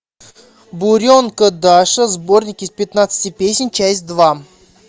буренка даша сборник из пятнадцати песен часть два